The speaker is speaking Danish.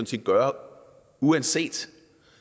set gøre uanset